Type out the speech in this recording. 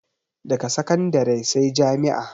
Daga sakandare sai jami'a